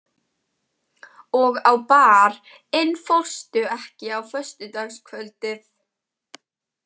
Og á Bar- inn fórstu ekki á föstudagskvöldið?